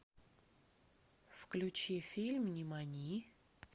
включи фильм нимани